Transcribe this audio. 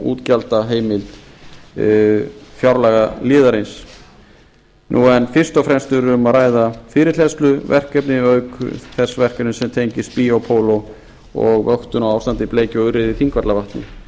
útgjaldaheimild fjárlagaliðarins en fyrst og fremst er um að ræða fyrirhleðsluverkefni auk þess verkefnis sem tengist biopol og vöktun á ástandi bleikju og urriða